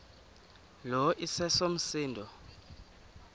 lo iseso msindo